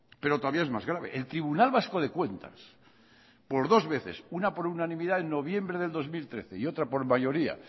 pero todavía es más grave el tribunal vasco de cuentas por dos veces una por unanimidad en noviembre de dos mil trece y otra por mayoría